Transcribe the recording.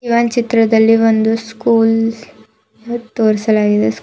ಈ ಒಂದ್ ಚಿತ್ರದಲ್ಲಿ ಒಂದು ಸ್ಕೂಲ್ ತೋರಿಸಲಾಗಿದೆ.